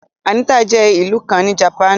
Anita jẹ́ ìlú kàn ní Japanu